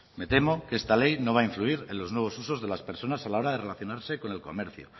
me tremo que esta ley no va a influir en los nuevos usos de las personas a la hora de relacionarse con el comercio